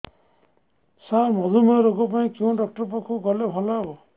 ସାର ମଧୁମେହ ରୋଗ ପାଇଁ କେଉଁ ଡକ୍ଟର ପାଖକୁ ଗଲେ ଭଲ ହେବ